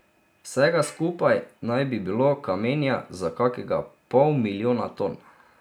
Vsega skupaj naj bi bilo kamenja za kakega pol milijona ton.